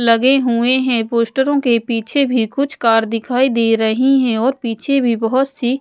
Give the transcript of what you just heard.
लगे हुए हैं पोस्टरों के पीछे भी कुछ कार दिखाई दे रही है और पीछे भी बहुत सी--